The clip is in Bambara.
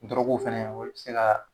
Durɔ fɛnɛ olu be se ka